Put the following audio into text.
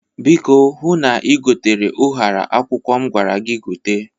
Biko hụ na ïgotere ụhara akwụkwọ m gwara gi gote.